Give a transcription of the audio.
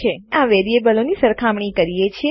અમે આ વેરીએબલો ચલોની સરખામણી કરીએ છીએ